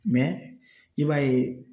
i b'a ye